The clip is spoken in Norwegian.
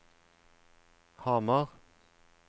Hamar